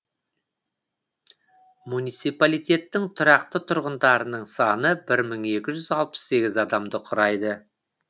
муниципалитеттің тұрақты тұрғындарының саны бір мың екі жүз алпыс сегіз адамды құрайды